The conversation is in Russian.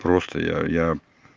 просто я я